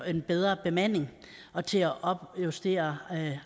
en bedre bemanding og til at opjustere